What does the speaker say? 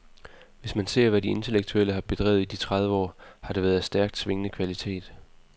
Hvis man ser, hvad de intellektuelle har bedrevet i de tredive år, har det været af stærkt svingende kvalitet.